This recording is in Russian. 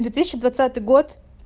две тысячи двадцатый год